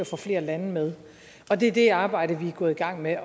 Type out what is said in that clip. få flere lande med og det er det arbejde vi er gået i gang med